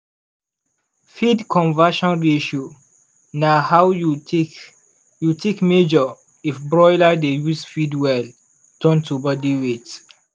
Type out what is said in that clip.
feed conversion ratio na how you take you take measure if broiler dey use feed well turn to body weight.